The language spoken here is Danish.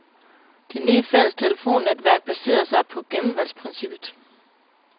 Det nye fælles telefonnetværk baserer sig på gennemvalgsprincippet.